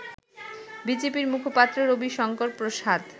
বিজেপির মুখপাত্র রবিশংকর প্রসাদ